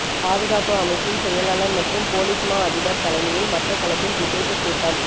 பாதுகாப்பு அமைச்சின் செயலாளர் மற்றும் பொலிஸ்மா அதிபர் தலைமையில் மட்டக்களப்பில் விசேட கூட்டம்